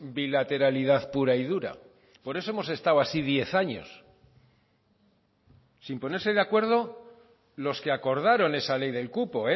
bilateralidad pura y dura por eso hemos estado así diez años sin ponerse de acuerdo los que acordaron esa ley del cupo